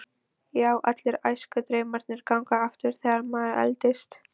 Já, allir æskudraumarnir ganga aftur þegar maður eldist.